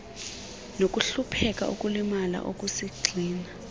nokuhlupheka ukulimala okusigxina